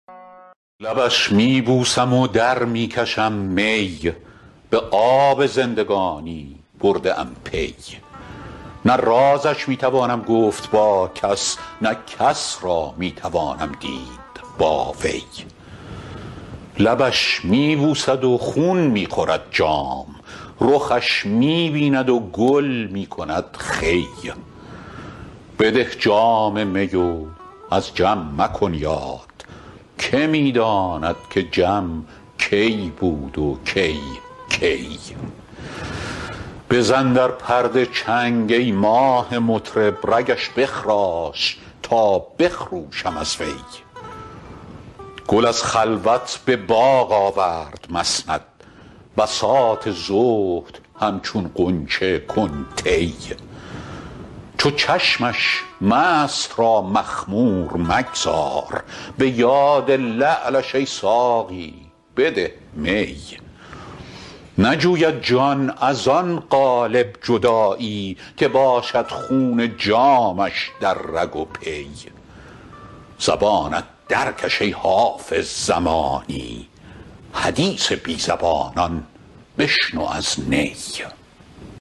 لبش می بوسم و در می کشم می به آب زندگانی برده ام پی نه رازش می توانم گفت با کس نه کس را می توانم دید با وی لبش می بوسد و خون می خورد جام رخش می بیند و گل می کند خوی بده جام می و از جم مکن یاد که می داند که جم کی بود و کی کی بزن در پرده چنگ ای ماه مطرب رگش بخراش تا بخروشم از وی گل از خلوت به باغ آورد مسند بساط زهد همچون غنچه کن طی چو چشمش مست را مخمور مگذار به یاد لعلش ای ساقی بده می نجوید جان از آن قالب جدایی که باشد خون جامش در رگ و پی زبانت درکش ای حافظ زمانی حدیث بی زبانان بشنو از نی